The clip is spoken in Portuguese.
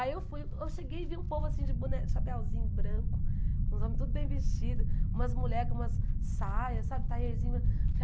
Aí eu fui eu cheguei e vi um povo assim de boné, chapeuzinho branco, uns homens tudo bem vestido, umas mulher com umas saia, sabe, taierzinho.